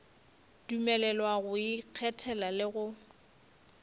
dumelelwa go ikgethela le go